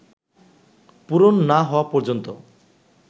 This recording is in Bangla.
পূরণ না হওয়া পর্যন্ত